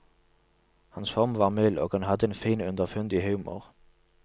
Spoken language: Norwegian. Hans form var mild, og han hadde en fin, underfundig humor.